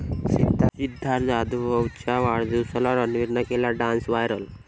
सिद्धार्थ जाधवच्या वाढदिवसाला रणवीरनं केला डान्स, व्हायरल